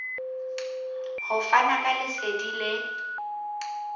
ho fana ka lesedi le